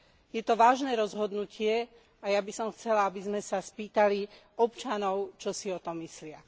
Je to vážne rozhodnutie a ja by som chcela, aby sme sa spýtali občanov, čo si o tom myslia.